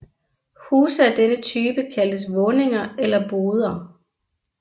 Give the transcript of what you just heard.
Huse af denne type kaldtes våninger eller boder